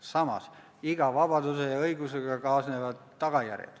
Samas, iga vabaduse ja õigusega kaasnevad tagajärjed.